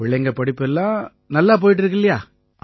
பிள்ளைங்க படிப்பு எல்லாம் நல்லாப் போயிட்டு இருக்கில்லையா